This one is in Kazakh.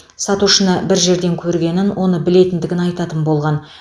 сатушыны бір жерден көргенін оны білетіндігін айтатын болған